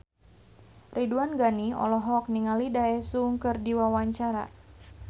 Ridwan Ghani olohok ningali Daesung keur diwawancara